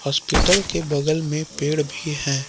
Hospital के बगल में पेड़ भी है।